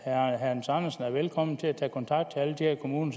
hans andersen er velkommen til at tage kontakt til alle de her kommuner